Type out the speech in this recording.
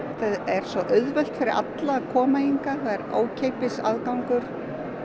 er svo auðvelt fyrir alla að koma hingað það er ókeypis aðgangur